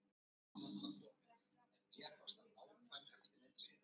Þeir héldu áfram að drekka og fóru að rifja upp gamlar sögur.